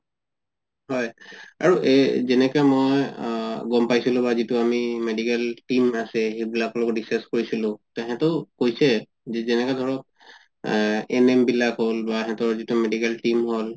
আৰু এই যেনেকে মই আ গম পাইছিলো বা যিতো আমি medical team আছে সেইবিলাকৰ লগত discuss কৰিছিলো তেহেতেও কৈছে যেনেকা ধৰক আ NM হল বা সেহেতৰ যিতো medical team হল